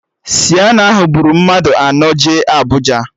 Sienna ahụ buru mmadụ anọ jee Abụja